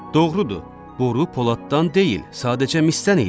Doğrudur, boru poladdan deyil, sadəcə misdən idi.